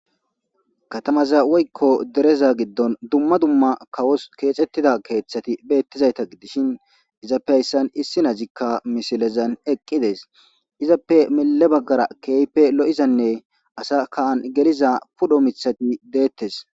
Katamaza woykko dereza giddon dumma dumma kawos keexxettida keeththati beettizayta gidishin izappe hayssan issi nazikka misilezan eqqides izappe mille baggara keeype lo'izanne asa kaan geliza pudho mithai deettes